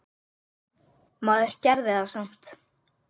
Maður gerði það samt.